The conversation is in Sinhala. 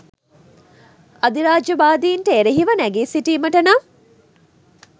අධිරාජ්‍යවාදීන්ට එරෙහිව නැඟී සිටීමට නම්